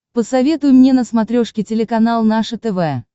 посоветуй мне на смотрешке телеканал наше тв